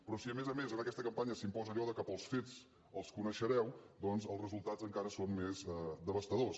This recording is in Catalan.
però si a més a més en aquesta campanya s’imposa allò que pels fets els coneixereu doncs els resultats encara són més devastadors